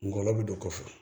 Ngɔlɔbɛ bɛ don kɔfɛ